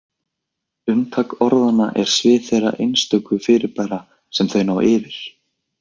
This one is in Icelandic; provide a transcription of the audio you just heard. Umtak orðanna er svið þeirra einstöku fyrirbæra sem þau ná yfir.